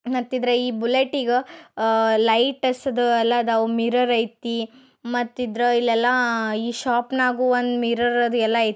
ಮತ್ತಿದ್ರಾ ಈ ಬುಲೆಟ್ ಗ ಆಹ್ ಲೈಟ್ಸ್ದು ಎಲ್ಲಾ ಐತಿ ಮಿರರ್ ಐತಿ ಮತ್ತಿದ್ರ ಈ ಎಲ್ಲಾ ಶೋಪ ನಾಗು ಒಂದ್ ಮಿರೋರ್ ಅದ. ಎಲ್ಲ ಐ--